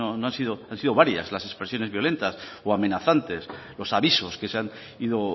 que han sido varias las expresiones violentas o amenazantes los avisos que se han ido